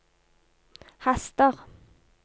haster